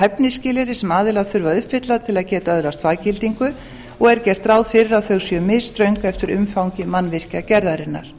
hæfnisskilyrði sem aðilar þurfa að uppfylla til að geta öðlast faggildingu og er gert ráð fyrir því að þau séu misströng eftir umfangi mannvirkjagerðarinnar